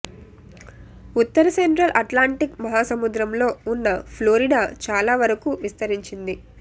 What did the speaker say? ఉత్తర central Atlantic మహాసముద్రంలో ఉన్న Florida చాలా వరకూ విస్తరించింది